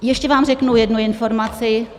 Ještě vám řeknu jednu informaci.